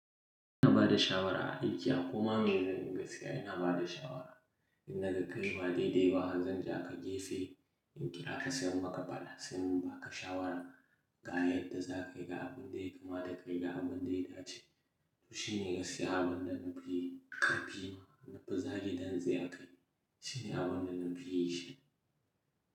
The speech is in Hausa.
Ina bada shawara a aiki akoma miye zanyi gaskiya ina bada shawara. In naga kayi ba daidai ba zan jaka gefe in kira ka sai in maka faɗa sai in baka shawara ga yadda za ka yi ga abun da ya kamata kayi ga abun da ya dace. To shine gaskiya abin da na fi ƙarfi, na fi zage dantse a kai. Shine abin da na fi yin shi.